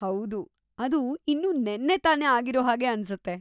ಹೌದು, ಅದು ಇನ್ನೂ ನೆನ್ನೆ ತಾನೆ ಆಗಿರೋಹಾಗೆ ಅನ್ಸುತ್ತೆ.